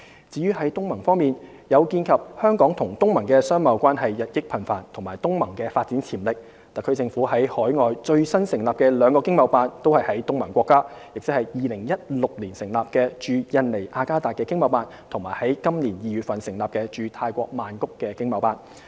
至於東盟方面，鑒於香港與東盟的商貿關係日益頻繁及東盟的發展潛力，特區政府在海外最新成立的兩個經貿辦均設於東盟國家，即2016年成立的駐印尼雅加達經貿辦和於本年2月成立的駐泰國曼谷經貿辦。